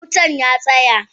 Eh wutan ya tsaya.